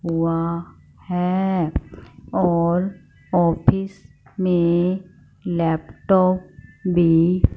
ओ है और ऑफिस में लैपटॉप भी--